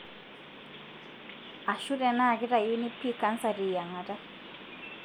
ashu tenaa kitayuni pii cancer teyiangata.